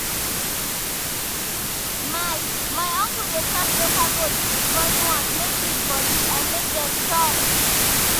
my my uncle dey cross local goats with foreign ones make meat for big and make dem strong.